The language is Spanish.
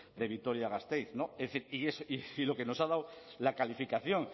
de vitoria gasteiz y lo que nos ha dado la calificación